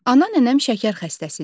Ana nənəm şəkər xəstəsidir.